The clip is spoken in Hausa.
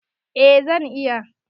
Eh zan iya.